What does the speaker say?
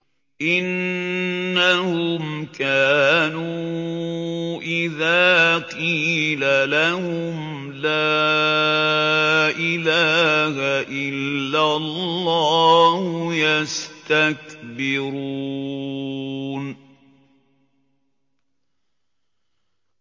إِنَّهُمْ كَانُوا إِذَا قِيلَ لَهُمْ لَا إِلَٰهَ إِلَّا اللَّهُ يَسْتَكْبِرُونَ